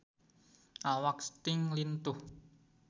Awak Sting lintuh